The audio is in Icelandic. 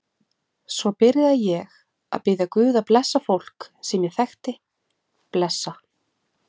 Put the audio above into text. Svo byrjaði ég að biðja guð að blessa fólk sem ég þekkti, blessa